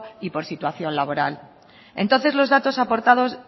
y por situación laboral entonces los datos aportados